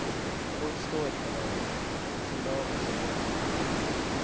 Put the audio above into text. Låt stå ett par dagar, sila av och servera.